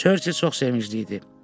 Churchill çox sevincli idi.